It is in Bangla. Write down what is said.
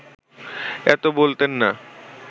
এত বলতেন না